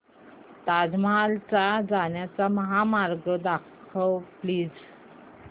ताज महल ला जाण्याचा महामार्ग दाखव प्लीज